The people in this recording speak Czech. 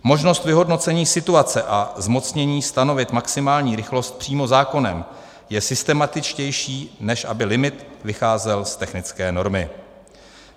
Možnost vyhodnocení situace a zmocnění stanovit maximální rychlost přímo zákonem je systematičtější, než aby limit vycházel z technické normy.